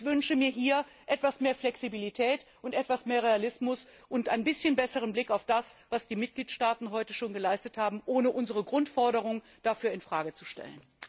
Ich wünsche mir hier etwas mehr Flexibilität, etwas mehr Realismus und einen etwas besseren Blick auf das, was die Mitgliedstaaten heute schon geleistet haben, ohne unsere Grundforderung dafür in Frage zu stellen.